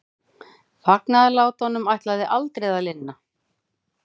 Fagnaðarlátunum ætlaði aldrei að linna.